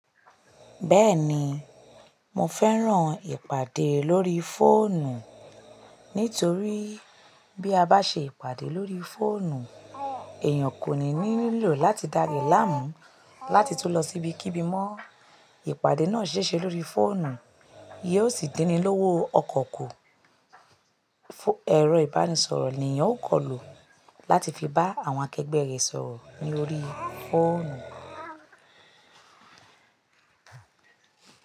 Bẹ́ẹ̀ni, mo fẹ́ràn ìpàdé lórí fóònù nítorí bí a bá ṣe ìpàdé lórí fóònù, èèyàn kò ní nílò láti dá ara láàmú láti tún lọ síbi kíbi mọ́. Ìpàdé náà ṣíṣe lórí fóònù, yoo sì dín ni lówó ọkọ̀ ku. Ẹ̀rọ ìbánisọ̀rọ̀ ni èèyàn ó kọ lo láti fi bá àwọn akẹgbẹ́ rẹ̀ sọ̀rọ̀ lórí fóònù.